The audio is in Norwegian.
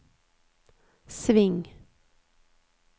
sving